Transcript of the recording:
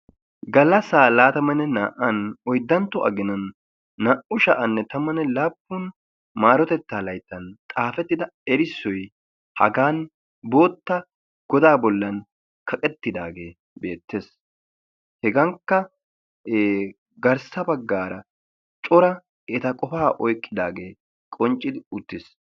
Gallassaa laatamanne naa"an oyddantto aginan naa"u sha'anne tammanne laappun maarotettaa layittan xaafettida erissoy hagan bootta godaa bollan kaqettidaagee beettees. Hegankka garssa baggaara cora eta qofaa oyikkidaagee qonccidi uttiis.